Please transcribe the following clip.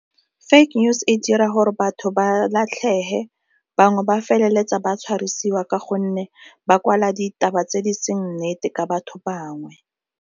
Fake news e dira gore batho ba latlhege, bangwe ba feleletsa ba tshwarisiwa ka gonne ba kwala ditaba tse di seng nnete ka batho bangwe.